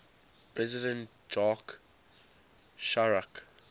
president jacques chirac